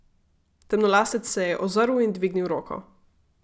Temnolasec se je ozrl in dvignil roko.